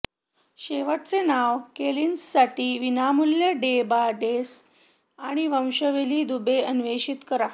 शेवटचे नाव कोलिन्ससाठी विनामूल्य डेटाबेस आणि वंशावली दुवे अन्वेषित करा